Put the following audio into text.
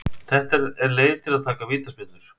Þetta er leið til að taka vítaspyrnur.